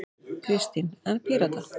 Kristín: En Pírata?